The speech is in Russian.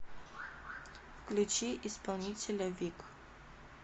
включи исполнителя в и к